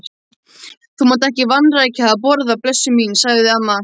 Þú mátt ekki vanrækja að borða, blessuð mín, sagði amma.